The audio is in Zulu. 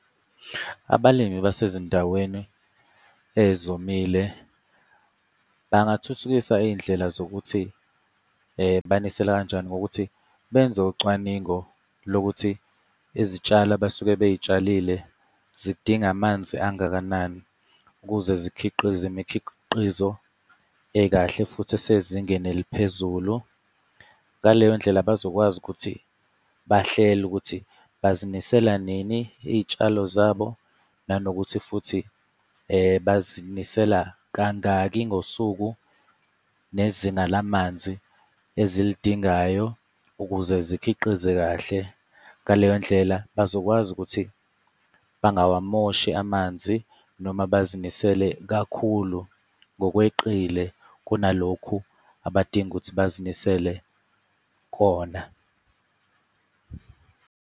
Abalimi basezindaweni ezomile bangathuthukisa iy'ndlela zokuthi banisela kanjani ngokuthi benze ucwaningo lokuthi izitshalo abasuke bey'tshalile zidinga amanzi angakanani ukuze zikhiqize imikhiqizo ekahle futhi esezingeni eliphezulu. Ngaleyo ndlela bazokwazi ukuthi bahlele ukuthi bazinisela nini iy'tshalo zabo, nanokuthi futhi bazinisela kangaki ngosuku nezinga lamanzi ezilidingayo ukuze zikhiqize kahle. Ngaleyo ndlela bazokwazi ukuthi bangawamoshi amanzi noma bazinisele kakhulu ngokweqile kunalokhu abadinga ukuthi bazinisele kona.